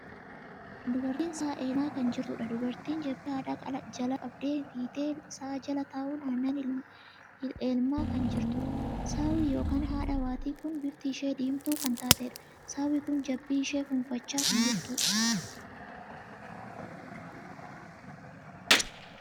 Dubartiin sa'a ilmaa kan jirtuudha. dubartiin jabbii haadha jalaa qabdee hiitee sa'a jala taa'uun annan ilmaa kan jirtudha. saawwi ykn haadha waatii kun bifti ishee diimtuu kan taateedha. saawwi kun jabbii ishee fuunfachaa kan jirtudha.